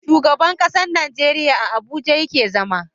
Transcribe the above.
Shugaban ƙasar Nigeria a abuja yake zama